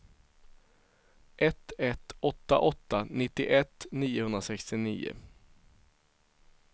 ett ett åtta åtta nittioett niohundrasextionio